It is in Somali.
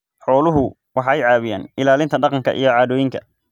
Xooluhu waxay caawiyaan ilaalinta dhaqanka iyo caadooyinka.